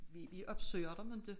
Vi vi opsøger dem inte